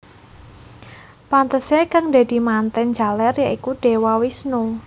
Pantesé kang dadi mantèn jaler ya iku Dewa Wisnu